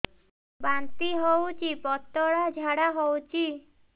ବାନ୍ତି ହଉଚି ପତଳା ଝାଡା ହଉଚି